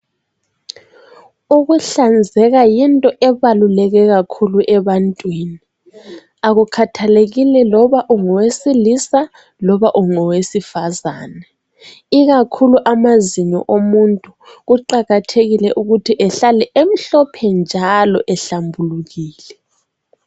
Ukuhlanzeka yinto ebaluleke kakhulu ebantwini. Akukhathalekile loba ungowesilisa loba ungowesifazane, ikakhulu amazinyo omuntu kuqakathekile ukuthi ehlale emhlophe njalo ehlambulukile.